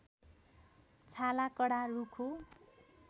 छाला कडा रुखो